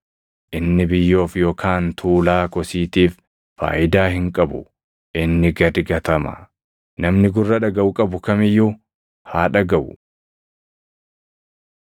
Inni biyyoof yookaan tuulaa kosiitiif faayidaa hin qabu; inni gad gatama. “Namni gurra dhagaʼu qabu kam iyyuu haa dhagaʼu.”